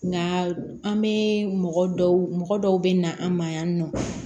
Nka an bɛ mɔgɔ dɔw mɔgɔ dɔw bɛ na an ma yan nɔ